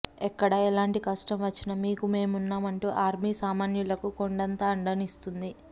ఎక్కడ ఎలాంటి కష్టం వచ్చినా మీకు మేమున్నామంటూ ఆర్మీ సామాన్యులకు కొండంత అండనిస్తుంది